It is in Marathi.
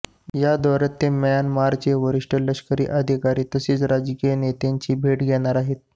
या दौऱ्यात ते म्यानमारचे वरिष्ठ लष्करी अधिकारी तसेच राजकीय नेत्यांची भेट घेणार आहेत